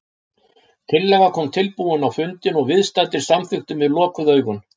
Tillaga kom tilbúin á fundinn og viðstaddir samþykktu með lokuð augun.